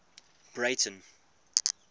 breyten